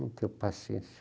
Não tenho paciência.